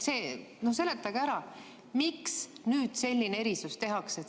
Seletage ära, miks nüüd selline erisus tehakse.